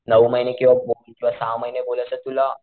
नऊ महिने किंवासहा महिने बोललास तर तुला,